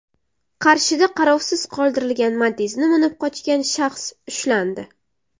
Qarshida qarovsiz qoldirilgan Matiz’ni minib qochgan shaxs ushlandi.